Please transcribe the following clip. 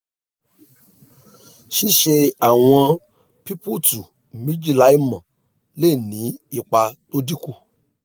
ṣíṣe àwọn pípùtù méjì láìmọ́; lè ní ipa tó dín kù